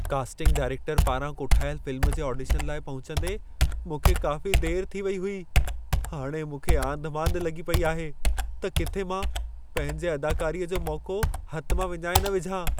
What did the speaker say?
Casting director पारां कोठायल film जे ऑडिशन लाइ पहुचंदे, मूंखे काफ़ी देरि थी वेई हुई। हाणे मूंखे आंधिमांधि लॻी पेई आहे त किथे मां पंहिंजे अदाकारीअ जो मौक़ो हथ मां विञाए न विझां।